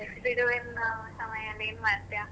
ಬಿಡುವೆಲ್ಲ ಸಮಯದಲ್ಲಿ ಏನ್ ಮಾಡ್ತಿಯಾ?